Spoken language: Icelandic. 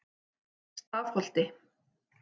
Stafholti